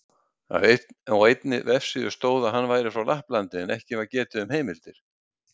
Á einni vefsíðu stóð að hann væri frá Lapplandi, en ekki var getið um heimildir.